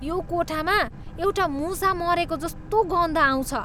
यो कोठामा एउटा मुसा मरेजस्तो गन्ध आउँछ।